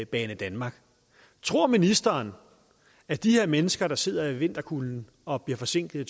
banedanmark tror ministeren at de her mennesker der sidder i vinterkulden og bliver forsinket